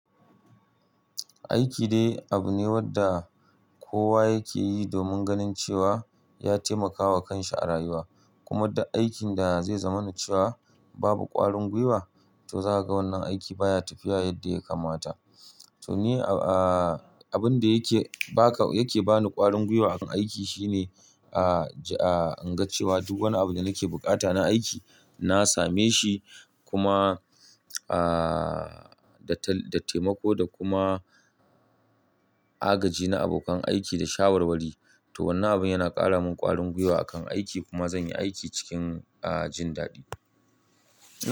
Aiki dai, abu ne wanda kowa yake yi domin ganin cewa ya taimaka wa kanshi a rayuwa. Kuma duk aikin da zai zama na cewa babu ƙwarin gwiwa to za ka ga wannan aikin baya tafiya yadda ya kamata. To ni abin da yake baka yake bani ƙwarin gwiwa akan aiki shine, in ga cewa duk wani abu da nake bukata na aiki na same shi. Kuma, a, da taimako da kuma agaji na abokan aiki da shawarwari. To wannan abun yana ƙara min ƙwarin gwiwa akan aiki kuma zan yi aiki cikin jin daɗi.